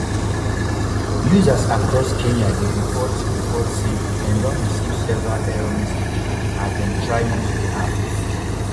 users across kenya dey report report say dem don receive several error messages as dem try use di app